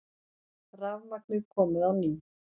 Rafmagnið komið á ný